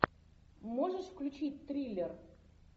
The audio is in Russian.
можешь включить триллер